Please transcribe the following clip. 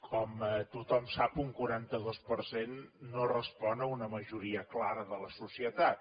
com tothom sap un quaranta dos per cent no respon a una majoria clara de la societat